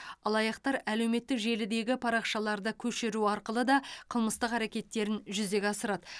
алаяқтар әлеуметтік желідегі парақшаларды көшіру арқылы да қылмыстық әрекеттерін жүзеге асырады